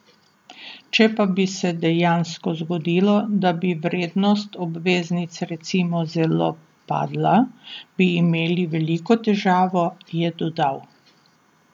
Če pa bi se dejansko zgodilo, da bi vrednost obveznic recimo zelo padla, bi imeli veliko težavo, je dodal.